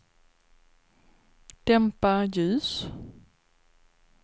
dämpa ljus